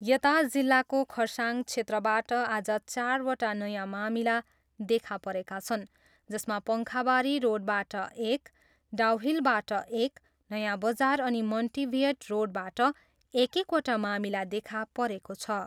यता जिल्लाको खरसाङ क्षेत्रबाट आज चारवटा नयाँ मामिला देखा परेका छन् जसमा पङ्खाबरी रोडबाट एक, डाउहिलबाट एक, नयाँबजार अनि मन्टिभियट रोडबाट एक एकवटा मामिला देखा परेको छ।